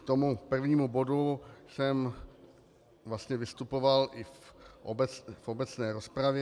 K tomu prvnímu bodu jsem vlastně vystupoval i v obecné rozpravě.